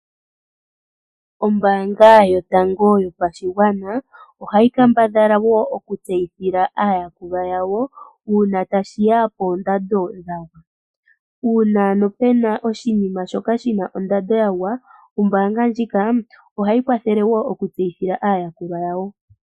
Ombaanga yotango yopashigwana oha yi kambadhala wo okutseyithila aayakulwa yawo uuna tashiya poondando dha gwa, uuna ano pena oshinima shoka shi na ondando ya gwa, ombaanga ndjika ohayi kwathele wo oku tseyithila aayakulwa ya wo.